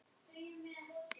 Hverjum þætti það ekki gaman?